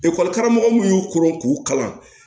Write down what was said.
karamɔgɔ minnu y'u koron k'u kalan